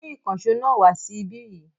Mú ìkànṣọ́ náà wa sí ibí yìí.